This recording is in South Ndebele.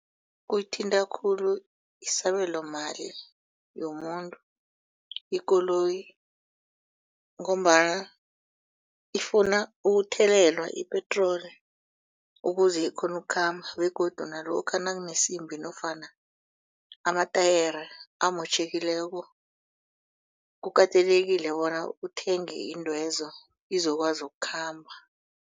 Kungithinta khulu isabelo mali yomuntu ikoloyi ngombana ifuna ukuthelelwa ipetroli ukuze ikghone ukukhamba begodu nalokha nakunesimbi nofana amatayere amotjhekileko kukatelekile bona uthenge iintwezo izokwazi ukukhamba.